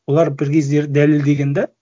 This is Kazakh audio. олар бір кездері дәлелдеген де